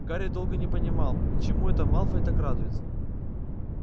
гарри долго не понимал чему это малфой так радуется